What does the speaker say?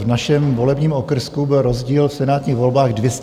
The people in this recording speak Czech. V našem volebním okrsku byl rozdíl v senátních volbách 233 hlasů.